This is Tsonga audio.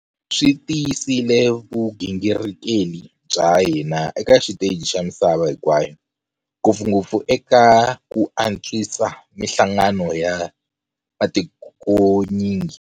Swi tiyisile vugingirikeli bya hina eka xiteji xa misava hinkwayo, ngopfungopfu eka ku antswisa mihlangano ya matikonyingi.